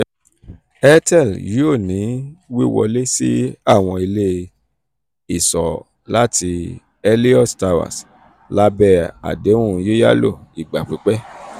airtel yoo ni wiwọle si awọn ile-iṣọ lati helios towers labẹ adehun yiyalo igba pipẹ.